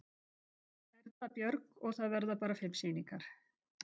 Erla Björg: Og það verða bara fimm sýningar?